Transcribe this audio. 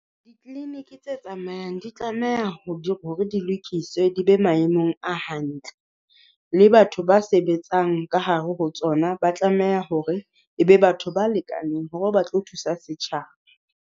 Di-clinic tse tsamayang di tlameha ho di hore di lokiswe di be maemong a hantle. Le batho ba sebetsang ka hare ho tsona, ba tlameha hore e be batho ba lekaneng hore ba tlo thusa setjhaba.